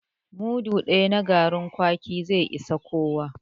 Mudu daya na garin kwaki zai ishi kowa